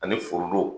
Ani forodon